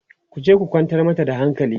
ku je ku kwantar mata da hankali!